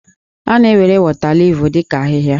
A na-ewere wọtaliif dị ka ahịhịa.